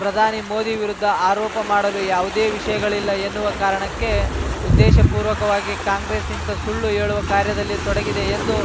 ಪ್ರಧಾನಿ ಮೋದಿ ವಿರುದ್ಧ ಆರೋಪ ಮಾಡಲು ಯಾವುದೇ ವಿಷಯಗಳಿಲ್ಲ ಎನ್ನುವ ಕಾರಣಕ್ಕೆ ಉದ್ದೇಶಪೂರ್ವಕವಾಗಿ ಕಾಂಗ್ರೆಸ್‌ ಇಂತಹ ಸುಳ್ಳು ಹೇಳುವ ಕಾರ್ಯದಲ್ಲಿ ತೊಡಗಿದೆ ಎಂದು